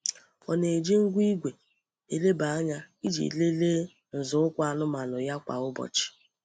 Ọ na-eji ngwa igwe eleba anya iji lelee nzọụkwụ anụmanụ ya kwa ụbọchị.